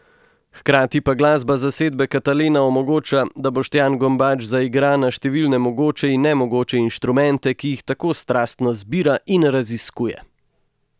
Hkrati pa glasba zasedbe Katalena omogoča, da Boštjan Gombač zaigra na številne mogoče in nemogoče inštrumente, ki jih tako strastno zbira in raziskuje!